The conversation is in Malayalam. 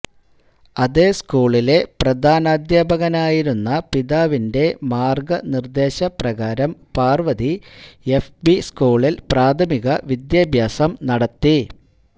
അതേ സ്കൂളിലെ പ്രധാനാധ്യാപകനായിരുന്ന പിതാവിന്റെ മാർഗനിർദേശപ്രകാരം പാർവതി എഫ്പി സ്കൂളിൽ പ്രാഥമിക വിദ്യാഭ്യാസം നടത്തി